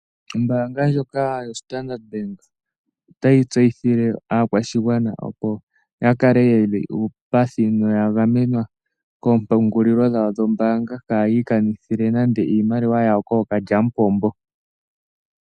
Ombaanga ndjoka yoStandard bank otayi tseyithile aakwashigwana, opo ya kale ye li uupathi noya gamenwa koompungulilo dhawo dhombaanga kayi ikanithile nande iimaliwa yawo kookalyamupombo.